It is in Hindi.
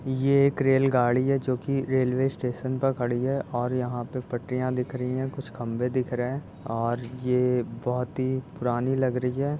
ये एक रेल गाड़ी है जो कि रेलवे स्टेशन पर खड़ी है और यहाँ ये पटरियां दिख रही हैं कुछ खंभे दिख रहे हैं और ये बोहोत ही पुरानी लग रही है।